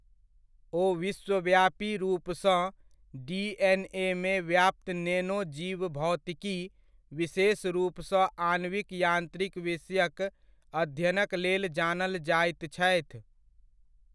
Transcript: ओ विश्वव्यापी रुपसँ डिएनएमे व्याप्त नेनो जीवभौतिकी, विशेष रुपसँ आणविक यान्त्रिक विषयक अध्ययनक लेल जानल जाइत छथि।